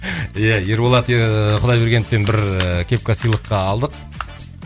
иә ерболат ыыы құдайбергеновтен бір ыыы кепка сыйлыққа алдық